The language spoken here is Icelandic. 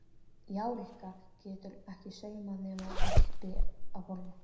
Já, Rikka getur ekki saumað nema uppi á borði